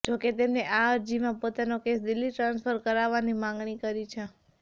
જો કે તેમને આ અરજીમાં પોતાનો કેસ દિલ્હી ટ્રાન્સફર કરવાની માંગણી કરી છે